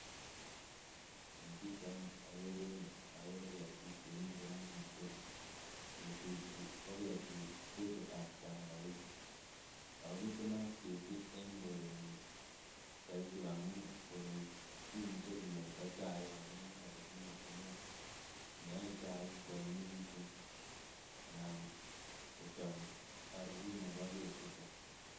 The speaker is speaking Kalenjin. En pichaini okere ketik chemiten en mutura, ketichu ko ketitab tangawizi akoo bitunat ketii en korenyun soiti amun koroi kimuche kiyoita chaik amun en aribut netindo neyoe chaik kwonyinyekitun anan kochom oribut nebo ketiton.